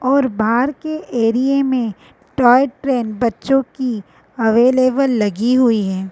और बाहर के एरिये में टोय ट्रेन बच्चों की अवेलेबल लगी हुई है।